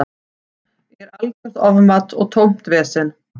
Er algjört ofmat og tómt vesen.